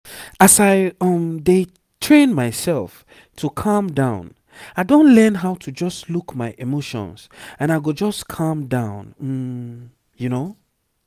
as i um dey train myself to calm down i don learn how to just look my emotions and i go just calm down um